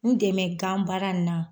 N dɛmɛ ganbaara in na.